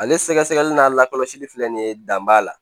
Ale sɛgɛsɛgɛli n'a lakɔlɔsili filɛ nin ye dan b'a la